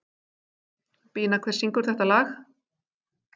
Bína, hver syngur þetta lag?